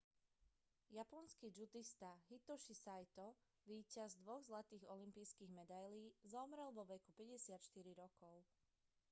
japonský džudista hitoshi saito víťaz dvoch zlatých olympijských medailí zomrel vo veku 54 rokov